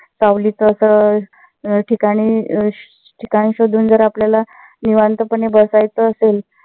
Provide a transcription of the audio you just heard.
सावलीच अस ठिकाणी अं ठिकाण शोधून जर आपल्याला निवांत पणे बसायचं असेल.